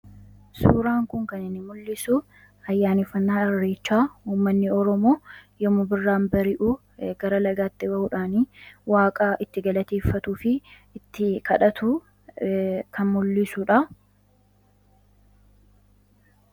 Suuraan kun kan mul'isu ayyaaneffannaa Irreechaa uummatni Oromoo yommuu birraan barii'u, gara lagaatti ba'uudhaani waaqa itti galateeffatuu fi itti kadhatu kan mul'isudha.